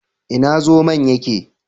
Ina zomon yake?